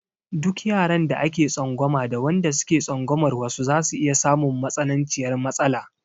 Duka yaran da ake tsangwama da wanda suke tsangwamar wasu zasu iya samun matsananciyar matsala.